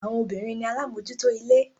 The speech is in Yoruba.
Àwọn obìnrin ni alámòjúútó ilé.